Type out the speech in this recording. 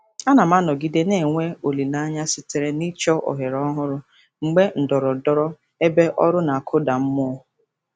Ana m anọgide na-enwe olileanya site n'ịchọ ohere ọhụrụ mgbe ndọrọndọrọ ebe ọrụ na-akụda mmụọ.